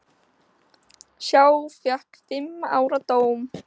Sá fékk fimm ára dóm.